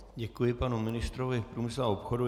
Děkuji panu ministrovi průmyslu a obchodu.